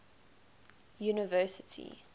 university